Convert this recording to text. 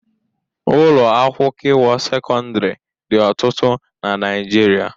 Ụlọ akwụkịwọ sekọndịrị dị ọtụtụ na Naịjirịa.